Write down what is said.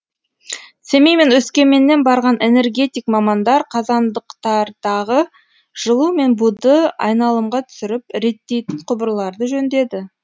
семей мен өскеменнен барған энергетик мамандар қазандықтардағы жылу мен буды айналымға түсіріп реттейтін құбырларды жөндеді